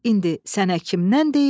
İndi sənə kimdən deyim?